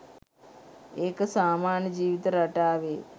ඒක සාමාන්‍ය ජීවිත රටාවේ